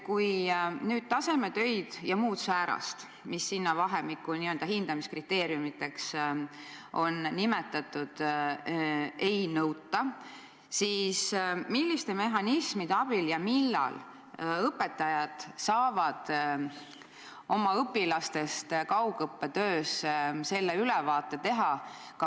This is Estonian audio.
Kui nüüd tasemetöid ja muud säärast, mida n-ö hindamiskriteeriumiteks on nimetatud, ei nõuta, siis milliste mehhanismide abil ja millal õpetajad saavad oma õpilaste kaugõppetööst ülevaate teha?